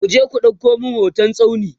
kuje ku ɗauko min hoton tsauni!